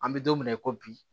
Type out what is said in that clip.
An bɛ don min na i ko bi